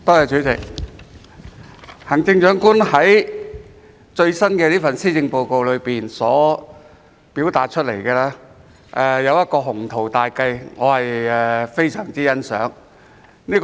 主席，行政長官在最新這份施政報告表達的一項雄圖大計，我非常欣賞。